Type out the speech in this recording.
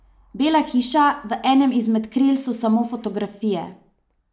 Bela hiša, v enem izmed kril so samo fotografije.